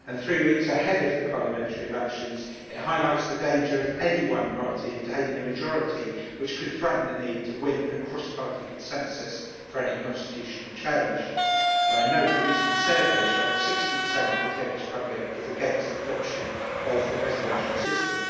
Three weeks ahead of the parliamentary elections it highlights the danger of any one party obtaining a majority, which could threaten the need to win a cross party consensus for any constitutional change. I note the recent survey showed 60 of the Turkish public is against adoption of the presidential system.